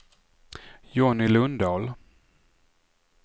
Jonny Lundahl